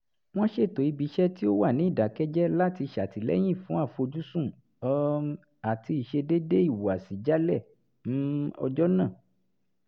wọ́n ṣètò ibi iṣẹ́ tí ó wà ní ìdàkẹ́jẹ́ láti ṣàtìlẹyìn fún àfojúsùn um àti ìṣedéédé ìhùwàsí jálẹ̀ um ọjọ́ nàà